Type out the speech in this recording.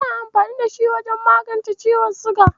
Ana amfani da shi wajen magance ciwon siga.